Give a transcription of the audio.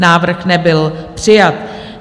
Návrh nebyl přijat.